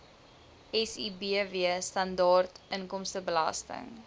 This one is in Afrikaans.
sibw standaard inkomstebelasting